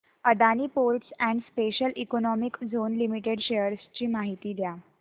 Adani Ports and Special Economic Zone Limited shares ची माहिती द्या